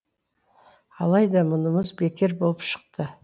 алайда мұнымыз бекер болып шықты